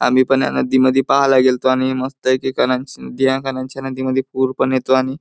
आम्ही पण ह्या नदीमध्ये पाहायला गेलतो आणि मस्त नदी मध्ये पुर पण येतो आणि--